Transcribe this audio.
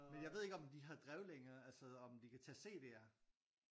Men jeg ved ikke om de har drev længere altså om de kan tage CDer